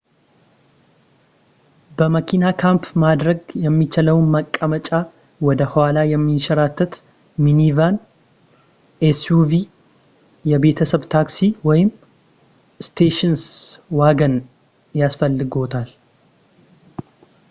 በመኪና ካምፕ ማድረግ የሚቻለው መቀመጫቸው ወደ ኋላ የሚንሸራተት ሚኒቫን ኤስዩቪ የቤተሰብ ታክሲ ወይም ስቴሽንስ ዋገን ያስፈልግዎታል